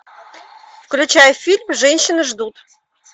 включай фильм женщины ждут